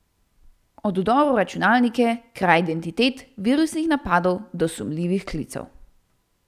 Od vdorov v računalnike, kraj identitet, virusnih napadov do sumljivih klicev.